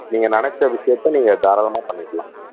நீங்க நினைச்ச விஷயத்த நீங்க தாராளமா பண்ணிக்கலாம்